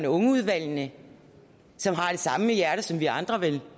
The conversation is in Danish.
unge udvalgene som har det samme hjerte som vi andre vel